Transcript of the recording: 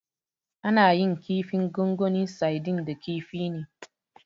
Ana yin kifin gongoni Saidin da kifi ne.